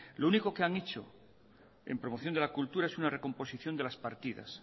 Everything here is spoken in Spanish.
lo único que han hecho en promoción de la cultura es una recomposición de las partidas